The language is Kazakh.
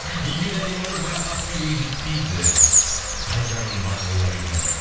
екеуі де әдемі қыз бірақ ақбибіге жетпейді қай жанның бағы болар екен дейді